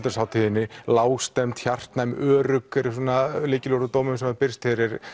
hátíðinni lágstemmd hjartnæm örugg eru svona lykilorð úr dómum sem hafa birst